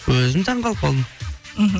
өзім таңқалып қалдым мхм